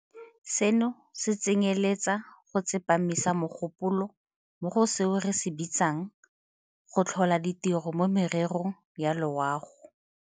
Seno se tsenyeletsa go tsepamisa mogopolo mo go seo re se bitsang go tlhola ditiro mo mererong ya loago.